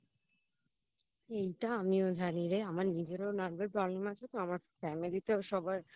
এইটা আমিও জানি রে আমার নিজেরও Nerve এর Problem আছে তো আমার Family তেও সবার